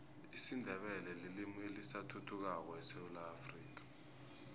isindebele lilimi elisathuthukako esewula afrika